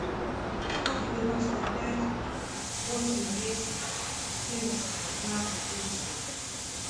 сто девяносто пять восемь десять семьдесят пятнадцать триста